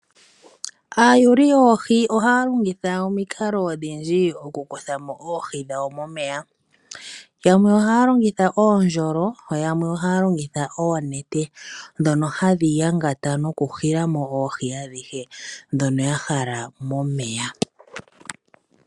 Aayuli yoohi ohaya longitha omikalo odhindji okukuthamo oohi dhawo momeya, yamwe ohaya longitha oondjolo, yamwe ohaya longitha oonete ndhono hadhi yangata noku hilamo oohi adhihe ndhono ya hala momeya.